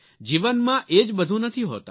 જીવનમાં એ જ બધું નથી હોતા